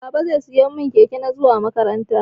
Baba zai siya mun keke na zuwa makaranta.